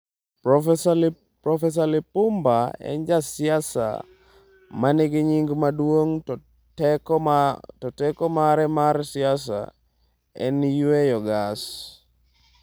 Profesa Lipumba en ja siasa manigi nying maduong' to teko mare mar siasa en 'yweyo gas'.